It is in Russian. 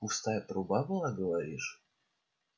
пустая труба была говоришь